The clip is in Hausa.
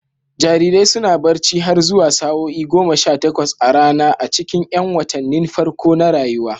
Jarirai suna barci har zuwa sa'o'i goma sha takwas a rana a cikin 'yan watannin farko na rayuwa.